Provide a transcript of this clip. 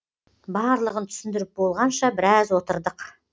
барлығын түсіндіріп болғанша біраз отырдық